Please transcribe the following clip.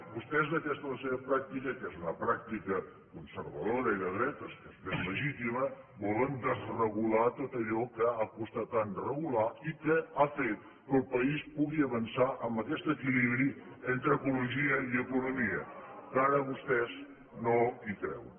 vostès d’aquesta la seva pràctica que és una pràctica conservadora i de dretes que és ben legítima volen desregular tot allò que ha costat tant regular i que ha fet que el país pugui avançar en aquest equilibri entre ecologia i economia que ara vostès no hi creuen